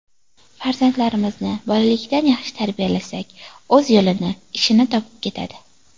Farzandlarimizni bolalikdan yaxshi tarbiyalasak, o‘z yo‘lini, ishini topib ketadi”.